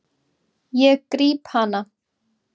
Ég gríp hana.